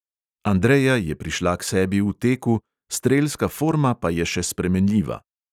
Andreja je prišla k sebi v teku, strelska forma pa je še spremenljiva.